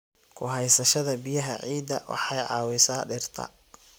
Ku haysashada biyaha ciidda waxay caawisaa dhirta.